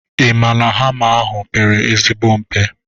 Ị maa na hama ahụ pere ezigbo mpe?